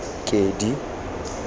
kedi